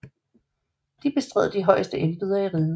De bestred de højeste embeder i riget